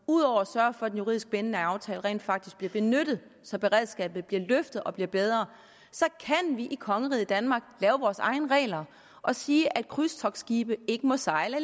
ud over at sørge for at den juridisk bindende aftale rent faktisk bliver benyttet så beredskabet bliver løftet og bliver bedre kan vi i kongeriget danmark lave vores egne regler og sige at krydstogtskibe ikke må sejle